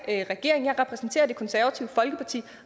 regeringen jeg repræsenterer det konservative folkeparti